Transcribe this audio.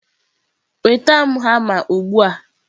nweta m hama ugbu a!.